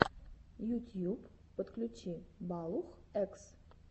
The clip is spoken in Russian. ютьюб подключи балух экс